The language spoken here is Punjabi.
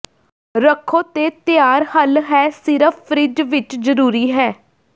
ਰੱਖੋ ਤੇ ਤਿਆਰ ਹੱਲ ਹੈ ਸਿਰਫ ਫਰਿੱਜ ਵਿਚ ਜ਼ਰੂਰੀ ਹੈ